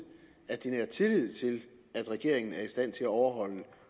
at de nærer tillid til at regeringen er i stand til at overholde